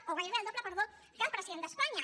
o gairebé el doble perdó que el president d’espanya